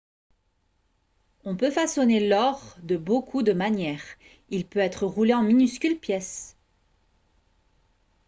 on peut façonner l'or de beaucoup de manières il peut être roulé en minuscules pièces